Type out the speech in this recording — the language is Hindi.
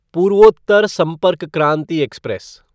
पूर्वोत्तर संपर्क क्रांति एक्सप्रेस